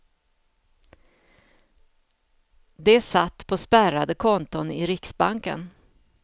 De satt på spärrade konton i riksbanken.